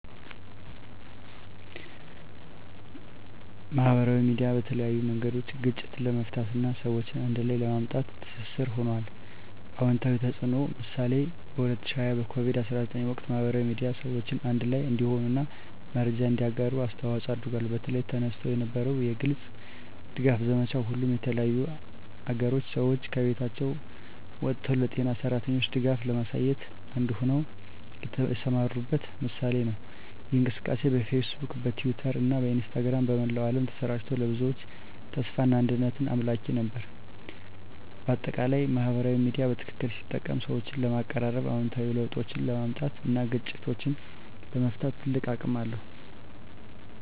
ማህበራዊ ሚዲያ በተለያዩ መንገዶች ግጭትን ለመፍታት እና ሰዎችን አንድ ላይ ለማምጣት ትስስር ሆኗል። #*አዎንታዊ ተፅዕኖ (ምሳሌ) በ2020 በኮቪድ-19 ወቅት፣ ማህበራዊ ሚዲያ ሰዎችን አንድ ላይ እንዲሆኑ እና መረጃን እንዲያጋሩ አስተዋፅዖ አድርጓል። በተለይ፣ ተነስቶ የነበረው የግልጽ ድጋፍ ዘመቻ፣ ሁሉም የተለያዩ አገሮች ሰዎች ከቤቶቻቸው ወጥተው ለጤና ሠራተኞች ድጋፍ ለማሳየት አንድ ሆነው የተሰማሩበት ምሳሌ ነው። ይህ እንቅስቃሴ በፌስቡክ፣ በትዊተር እና በኢንስታግራም በመላው ዓለም ተሰራጭቶ፣ ለብዙዎች ተስፋና አንድነት አምላኪ ነበር። በአጠቃላይ፣ ማህበራዊ ሚዲያ በትክክል ሲጠቀም ሰዎችን ለማቀራረብ፣ አዎንታዊ ለውጦችን ለማምጣት እና ግጭቶችን ለመፍታት ትልቅ አቅም አለው።